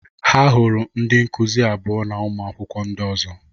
Ha hụrụ ndị nkụzi abụo na ụmụ akwụkwọ ndị ọzọ